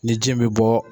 Ni ji bɛ bɔ